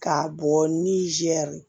K'a bɔ nizeri